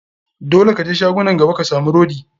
Dole ka je shagunan gaba ka samu rodi.